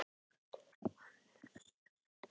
Breta í landi sínu bæði í viðskiptum og stjórnmálum.